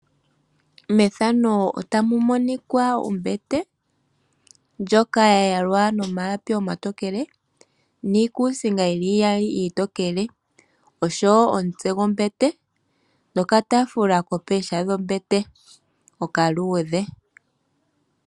Methano otamu monika ombete. Ndjoka ya yalwa nomalapi omatokele niikusinga iiyali iitokele. Oshowo omutse gwombete nokataafula ko pooha dhombete okaludhe.